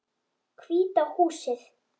Hvíta húsið.